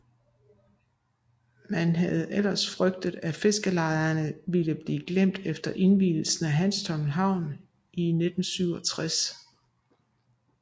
Man havde ellers frygtet at fiskerlejerne ville blive glemt efter indvielsen af Hanstholm Havn i 1967